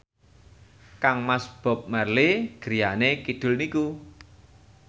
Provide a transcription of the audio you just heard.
kangmas Bob Marley griyane kidul niku